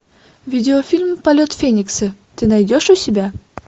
видеофильм полет феникса ты найдешь у себя